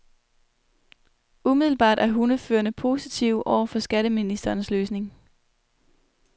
Umiddelbart er hundeførerne positive over for skatteministerens løsning.